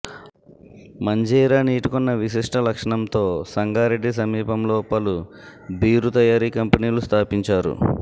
మంజీరా నీటికున్న విశిష్ట లక్షణంతో సంగారెడ్డి సమీపంలో పలు బీరు తయారీ కంపెనీలు స్థాపించారు